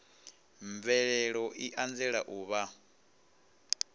mvelelo i anzela u vha